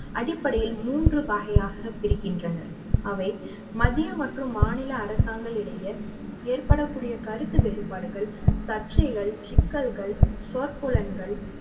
அடிப்படையில் மூன்று வகையாக பிரிக்கின்றனர் அவை மத்திய மற்றும் மாநில அரசாங்கங்களுடைய ஏற்படக்கூடிய கருத்து வேறுபாடுகள் சர்ச்சைகள் சிக்கல்கள் சொற்பூலன்கள்